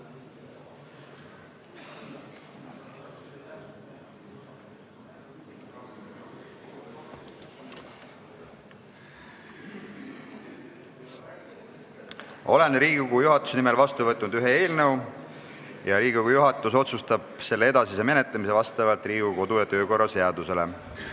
Olen Riigikogu juhatuse nimel vastu võtnud ühe eelnõu, Riigikogu juhatus otsustab selle edasise menetlemise Riigikogu kodu- ja töökorra seaduse alusel.